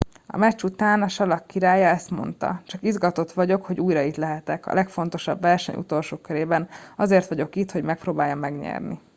a meccs után a salak királya ezt mondta csak izgatott vagyok hogy újra itt lehetek a legfontosabb verseny utolsó körében azért vagyok itt hogy megpróbáljam megnyerni